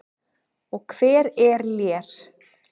Og hver er Lér?